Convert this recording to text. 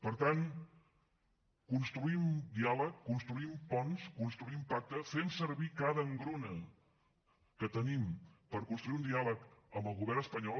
per tant construïm diàleg construïm ponts construïm pacte fem servir cada engruna que tenim per construir un diàleg amb el govern espanyol